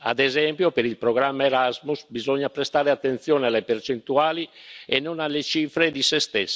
Ad esempio per il programma Erasmus bisogna prestare attenzione alle percentuali e non alle cifre di per sé.